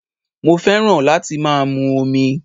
Mo fẹ́ràn láti má a mu omi